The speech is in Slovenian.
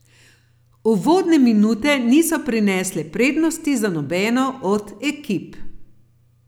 Uvodne minute niso prinesle prednosti za nobeno od ekip.